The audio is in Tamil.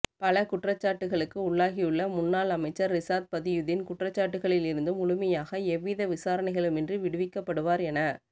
பல குற்றச்சாட்டுக்களுக்கு உள்ளாகியுள்ள முன்னாள் அமைச்சர் ரிஷாத் பதியுதீன் குற்றச்சாட்டுக்களில் இருந்து முழுமையாக எவ்வித விசாரணைகளுமின்றி விடுவிக்கப்படுவார் என